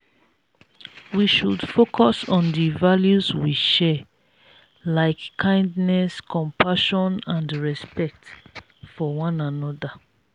we should focus on di values we share like kindness compassion and respect for one another.